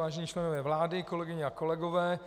Vážení členové vlády, kolegyně a kolegové,